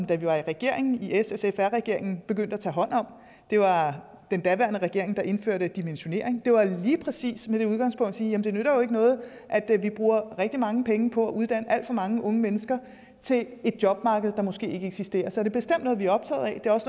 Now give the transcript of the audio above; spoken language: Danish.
da vi var i regering i ssfr regeringen begyndte at tage hånd om det var den daværende regering der indførte dimensionering det var lige præcis med det udgangspunkt at sige jamen det nytter jo ikke noget at vi bruger rigtig mange penge på at uddanne alt for mange unge mennesker til et jobmarked der måske ikke eksisterer så det er bestemt noget vi er optaget af